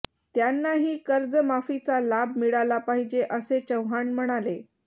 त्यांनाही कर्जमाफीचा लाभ मिळाला पाहिजे असे चव्हाण म्हणाले